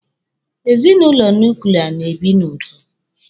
Ezinụlọ nuklia na-ebi n'udo.